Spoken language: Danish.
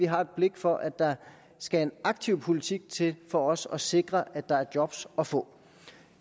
har blik for at der skal en aktiv politik til for også at sikre at der er job at få